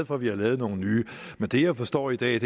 for at vi har lavet nogle nye men det jeg forstår i dag er